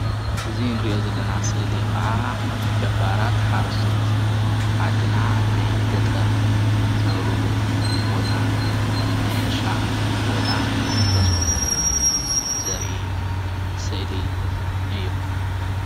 እዚ እንሪኦ ዘለና ስእሊ ኸዓ ገባራት ሓረስቶት ዓድና ናይ ገጠር ዝነብርሉ ቦታ ናይ ሕርሻ ቦታ ገዝኦምን ዘርኢ ስእሊ እዩ፡፡